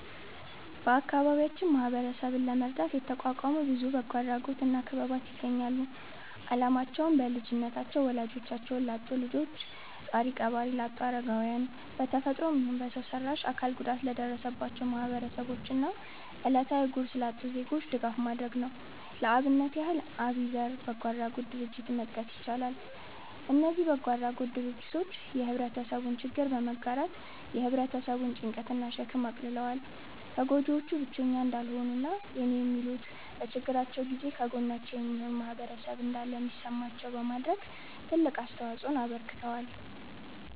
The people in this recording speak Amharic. በአከባቢያችን ማህበረሰብን ለመርዳት የተቋቋሙ ብዙ በጎ አድራጎት እና ክበባት ይገኛሉ። አላማቸውም: በልጅነታቸው ወላጆቻቸውን ላጡ ልጆች፣ ጧሪ ቀባሪ ላጡ አረጋውያን፣ በ ተፈጥሮም ይሁን በሰው ሰራሽ አካል ጉዳት ለደረሰባቸው ማህበረሰቦች እና እለታዊ ጉርስ ላጡ ዜጎች ድጋፍ ማድረግ ነው። ለአብነት ያህል አቢዘር በጎ አድራጎት ድርጀትን መጥቀስ ይቻላል። እነዚ በጎ አድራጎት ድርጅቶች የህብረተሰቡን ችግር በመጋራት የ ህብረተሰቡን ጭንቀት እና ሸክም አቅልለዋል። ተጎጂዎቹ ብቸኛ እንዳልሆኑ እና የኔ የሚሉት፤ በችግራቸው ጊዜ ከጎናቸው የሚሆን ማህበረሰብ እንዳለ እንዲሰማቸው በማድረግ ትልቅ አስተዋጽኦ አበርክተዋል።